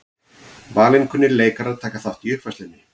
Valinkunnir leikarar taka þátt í uppfærslunni